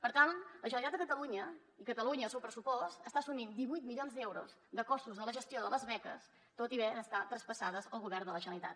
per tant la generalitat de catalunya i catalunya al seu pressupost està as·sumint divuit milions d’euros de costos de la gestió de les beques tot i haver d’estar traspassades al govern de la generalitat